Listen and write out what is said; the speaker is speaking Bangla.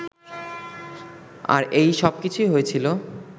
আর এই সবকিছুই হয়েছিলো